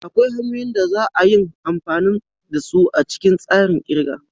Akwai hanyoyin da za a yin amfani da su a cikin tsarin kirga.